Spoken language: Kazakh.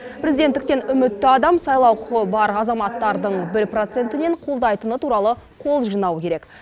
президенттіктен үмітті адам сайлау құқы бар азаматтардың бір процентінен қолдайтыны туралы қол жинауы керек